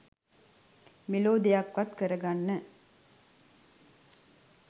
මෙලෝ දෙයක්වත් කරගන්න.